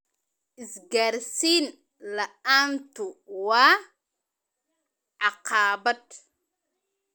Isgaarsiin la'aantu waa caqabad.